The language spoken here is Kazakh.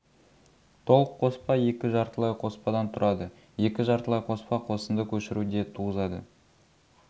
толық қоспа екі жартылай қоспадан тұрады екі жартылай қоспа қосынды көшіру де туғызады